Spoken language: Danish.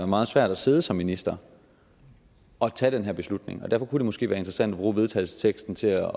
meget svært at sidde som minister og tage den her beslutning og derfor kunne det måske være interessant at bruge vedtagelsesteksten til at